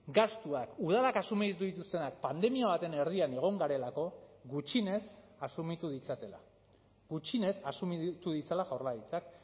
gastuak udalak asumitu dituztenak pandemia baten erdian egon garelako gutxienez asumitu ditzatela gutxienez asumitu ditzala jaurlaritzak